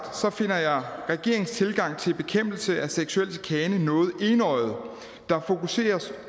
finder jeg regeringens tilgang til bekæmpelse af seksuel chikane noget enøjet der fokuseres